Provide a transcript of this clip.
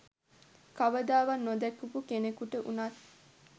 කවදාවත් නොදැකපු කෙනෙකුට වුනත්